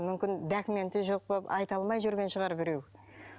мүмкін документі жоқ болып айта алмай жүрген шығар біреу